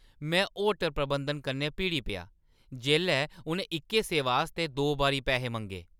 में होटल प्रबंधन कन्नै भिड़ी पेआ जेल्लै उʼनें इक्कै सेवा आस्तै दो बारी पैहे मंगे।